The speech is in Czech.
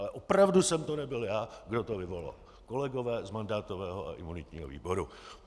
Ale opravdu jsem to nebyl já, kdo to vyvolal, kolegové z mandátového a imunitního výboru.